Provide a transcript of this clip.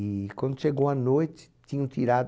E quando chegou a noite, tinham tirado.